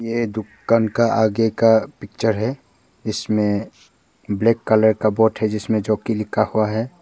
ये दुकान का आगे का पिक्चर है इसमें ब्लैक कलर का बोर्ड है जिसमें जो कि लिखा हुआ है।